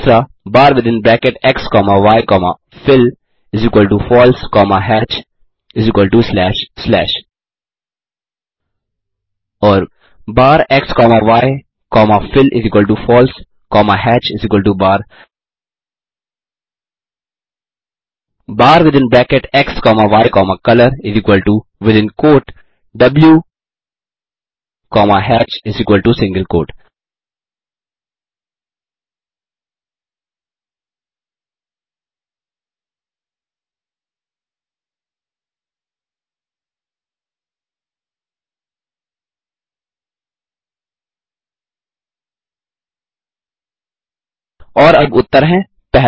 बार within bracket x comma y comma fillFalse comma hatchslash slash bar within bracket x comma y comma fillFalse comma hatchin single quote bar within bracket x comma y comma color within quote द्व comma hatchsingle quote और अब उत्तर हैं 1